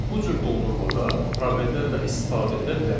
Bu cür doldurmada proveldən də istifadə edə bilərik.